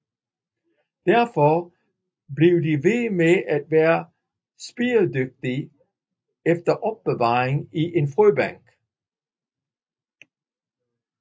Derfor kan de blive ved med at være spiredygtige efter opbevaring i en frøbank